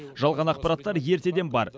жалған ақпараттар ертеден бар